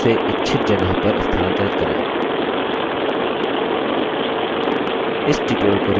अब बादल चुनें और उसे इच्छित जगह पर स्थानांतरित करें